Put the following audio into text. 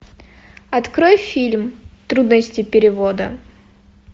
открой фильм трудности перевода